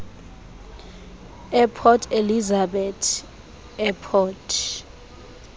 eport elizabeth airport